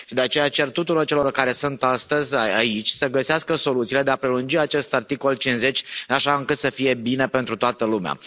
De aceea, cer tuturor celor care sunt astăzi aici să găsească soluțiile de a prelungi acest articol 50 așa încât să fie bine pentru toată lumea.